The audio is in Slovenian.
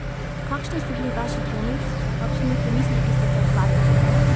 Kakšni so bili vaši dvomi, s kakšnimi pomisleki ste se ukvarjali?